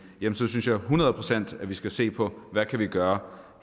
her synes jeg hundrede procent at vi skal se på hvad vi kan gøre